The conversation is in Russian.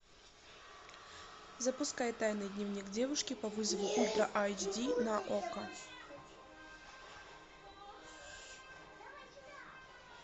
запускай тайный дневник девушки по вызову ультра айч ди на окко